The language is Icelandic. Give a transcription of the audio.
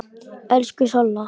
Elsku Solla.